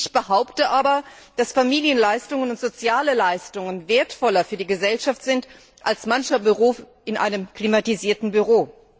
Ich behaupte aber, dass Familienleistungen und soziale Leistungen wertvoller für die Gesellschaft sind als mancher Beruf in einem klimatisierten Büro.